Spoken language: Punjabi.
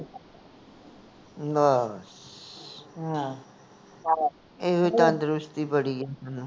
ਬਾਸ ਇਹੋ ਹੀ ਤੰਦਰੁਸਤੀ ਬੜੀ ਹੈ